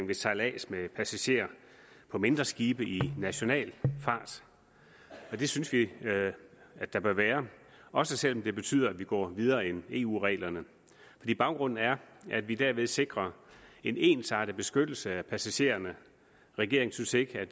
ved sejlads med passagerer på mindre skibe i national fart og det synes vi at der bør være også selv om det betyder at vi går videre end eu reglerne fordi baggrunden er at vi derved sikrer en ensartet beskyttelse af passagererne regeringen synes ikke at